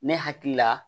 Ne hakili la